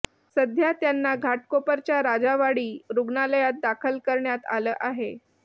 सध्या त्यांना घाटकोपरच्या राजावाडी रुग्णालयात दाखल करण्यात आलं आहे